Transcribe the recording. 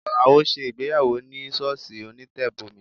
Alao ṣe ìgbéyàwó ní sọ́ọ̀sì onítẹ̀bọmi